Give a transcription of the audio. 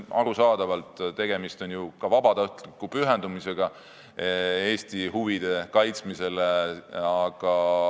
Arusaadavalt on tegemist ju vabatahtliku pühendumisega Eesti huvide kaitsmisele.